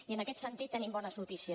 i en aquest sentit tenim bones notícies